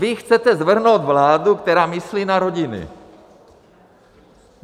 Vy chcete svrhnout vládu, která myslí na rodiny!